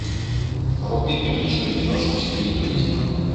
вруби приличную киношку в стиле туризма